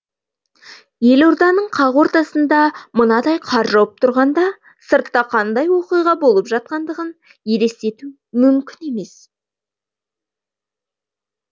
елорданың қақ ортасында мынадай қар жауып тұрғанда сыртта қандай оқиға болып жатқандығын елестету мүмкін емес